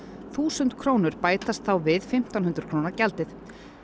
þúsund krónur bætast þá við fimmtán hundruð króna gjaldið